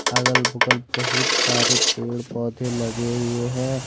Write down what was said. अगल बगल बहुत सारे पेड़ पौधे लगे हुए हैं।